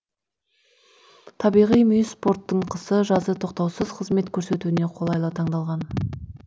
табиғи мүйіс порттың қысы жазы тоқтаусыз қызмет көрсетуіне қолайлы таңдалған